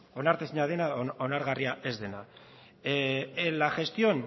onartezina dena onargarria ez dena en la gestión